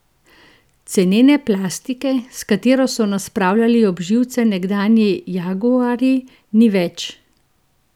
Cenene plastike, s katero so nas spravljali ob živce nekdanji jaguarji, ni več!